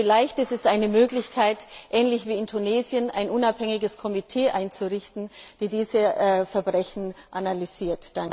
Vielleicht ist es eine Möglichkeit, ähnlich wie in Tunesien ein unabhängiges Komitee einzurichten, das diese Verbrechen analysiert.